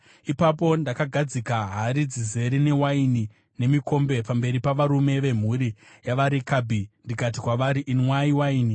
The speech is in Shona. Ipapo ndakagadzika hari dzizere newaini nemikombe pamberi pavarume vemhuri yavaRekabhi ndikati kwavari, “Inwai waini.”